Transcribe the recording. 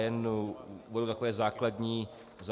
Jen uvedu takové základní body.